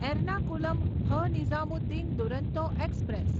એર્નાકુલમ હ.નિઝામુદ્દીન દુરંતો એક્સપ્રેસ